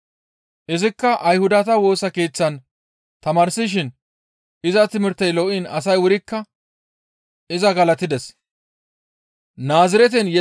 Izikka Ayhudata Woosa Keeththan tamaarsishin iza timirtey lo7iin asay wurikka iza galatides.